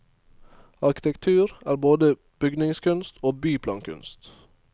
Arkitektur er både bygningskunst og byplankunst.